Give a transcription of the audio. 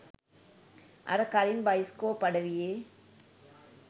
අර කලින් බයිස්කෝප් අඩවියේ